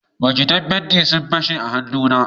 bokatan fenti sun fashe a hannu na